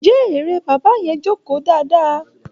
Njẹ́ eré bàbá yẹn jókòó dáadáa?